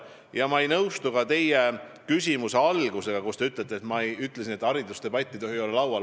Ja ma ei nõustu ka teie küsimuse alguses väidetuga: te ütlesite, et ma ütlesin, et haridusdebatt ei tohi olla laual.